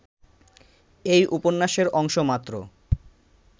এই উপন্যাসের অংশমাত্র